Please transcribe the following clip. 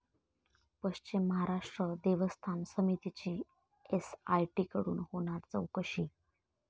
पश्चिम महाराष्ट्र देवस्थान समितीची एसआयटीकडून होणार चौकशी